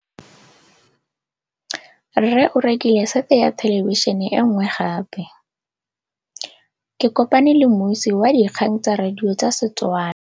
Rre o rekile sete ya thêlêbišênê e nngwe gape. Ke kopane mmuisi w dikgang tsa radio tsa Setswana.